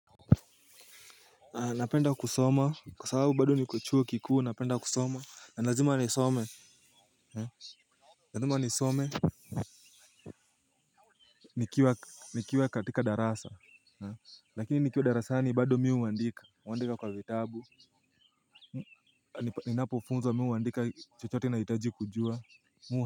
Napenda kusoma kwa sababu bado niko chuo kikuu napenda kusoma na lazima ni some. Na lazima ni some. Nikiwa katika darasa lakini nikiwa darasani bado mi huandika huandika kwa vitabu. Ninapofunza mi huandika chochote nahitaji kujua.